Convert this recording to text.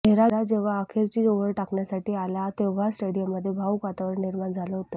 नेहरा जेव्हा अखेरची ओव्हर टाकण्य़ासाठी आला तेव्हा स्टेडिअममध्ये भाऊक वातावरण निर्माण झालं होतं